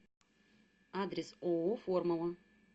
адрес ооо формула